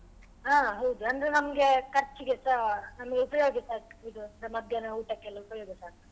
ಹಾ ಹೌದು ಅಂದ್ರೆ ನಮ್ಗೆ ಖರ್ಚಿಗೆಸ ನಮ್ಗೆ ಉಪಯೋಗ ಇದು ಮಧ್ಯಾಹ್ನ ಊಟಕ್ಕೆಲ್ಲ ಉಪಯೋಗಸ ಆಗ್ತದೆ.